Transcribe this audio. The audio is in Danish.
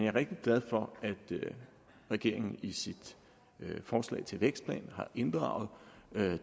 er rigtig glad for at regeringen i sit forslag til en vækstplan har inddraget